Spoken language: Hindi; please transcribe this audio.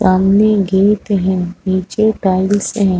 सामने गेट है। नीचे टाइल्स है।